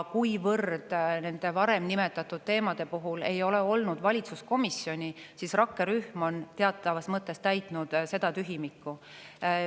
Kuivõrd nende varem nimetatud teemade puhul ei ole olnud valitsuskomisjoni, siis on rakkerühm teatavas mõttes täitnud seda tühimikku.